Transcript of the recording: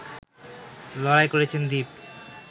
লড়াই করেছেন দীপ